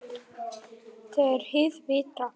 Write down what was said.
Þegar hið virta